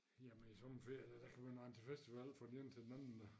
Jamen i sommerferien der kan man rende til festival fra den ene til den anden da